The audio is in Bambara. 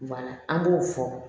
an b'o fɔ